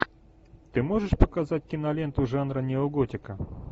ты можешь показать киноленту жанра неоготика